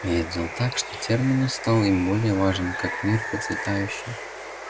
я сделал так что терминус стал им более важен как мир процветающий